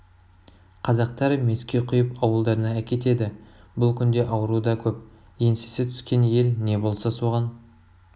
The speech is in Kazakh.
қазақтар меске құйып ауылдарына әкетеді бұл күнде ауру да көп еңсесі түскен ел не болса соған